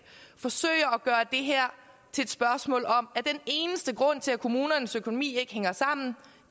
forsøger at gøre det her til et spørgsmål om at den eneste grund til at kommunernes økonomi ikke hænger sammen